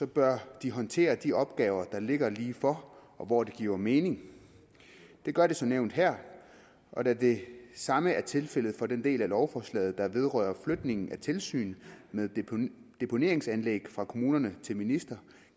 bør de håndtere de opgaver der ligger lige for og hvor det giver mening det gør det som nævnt her og da det samme er tilfældet for den del af lovforslaget der vedrører flytningen af tilsynet med deponeringsanlæg fra kommune til minister